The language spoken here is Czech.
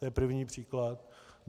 To je první příklad.